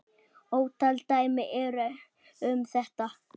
Ótal dæmi eru um þetta.